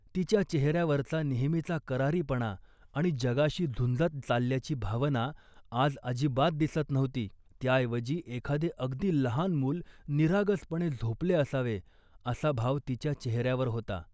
तिच्या चेहऱ्यावरचा नेहमीचा करारीपणा आणि जगाशी झुंजत चालल्याची भावना आज अजिबात दिसत नव्हती. त्याऐवजी, एखादे अगदी लहान मूल निरागसपणे झोपले असावे असा भाव तिच्या चेहऱ्यावर होता